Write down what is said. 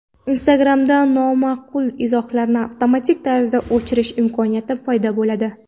Instagram’da nomaqbul izohlarni avtomatik tarzda o‘chirish imkoniyati paydo bo‘ladi.